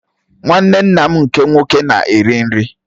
Nwanne nna m nke nwoke na-eri nri.